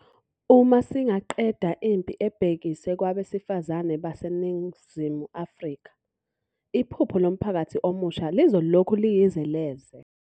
Uma singaqeda impi ebhekiswe kwabesifazane baseNingizimu Afrika, iphupho lomphakathi omusha lizolokhu liyize leze.